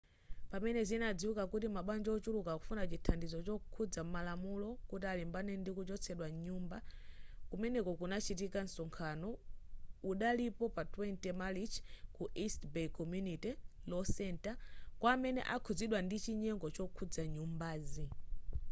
pamene zinadziwika kuti mabanja wochuluka akufuna chithandizo chokhudza malamulo kuti alimbane ndi kuchotsedwa mnyumba kumene kunachitika msonkhano udalipo pa 20 marichi ku east bay community law center kwa amene adakhuzidwa ndi chinyengo chokhudza nyumbazi